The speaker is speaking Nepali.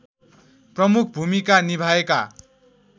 प्रमुख भूमिका निभाएका